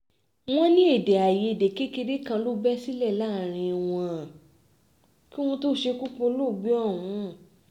wọ́n ní èdè àìyedè kékeré kan ló bẹ́ sílẹ̀ láàrin wọn kí wọ́n tóó ṣekú pa olóògbé ọ̀hún